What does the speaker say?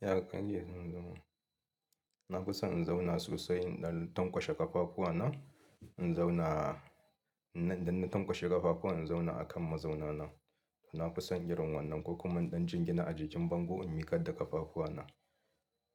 Ya kan je zunzuma. Na fi son in zauna sosai in ɗan tanƙwashe ƙafafuwana, in zauna. Idan na tanƙwashe ƙafafuwan, in zauna a kan mazaunana. Na fi son irin wannan ko kuma in ɗan jingina a jikin bango in miƙar da ƙafafuwana.